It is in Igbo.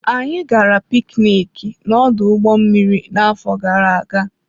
Anyị gara piknic n'ọdụ ụgbọ mmiri n'afọ gara aga.